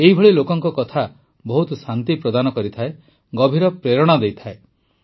ଏଭଳି ଲୋକଙ୍କ କଥା ବହୁତ ଶାନ୍ତି ପ୍ରଦାନ କରିଥାଏ ଗଭୀର ପ୍ରେରଣା ଦେଇଥାଏ